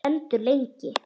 Stendur lengi.